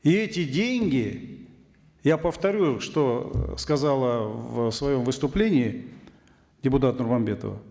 и эти деньги я повторю что сказала в своем выступлении депутат нурманбетова